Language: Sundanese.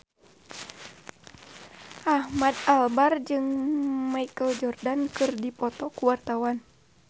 Ahmad Albar jeung Michael Jordan keur dipoto ku wartawan